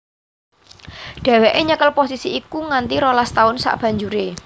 Dheweke nyekel posisi iku nganti rolas taun sabanjuré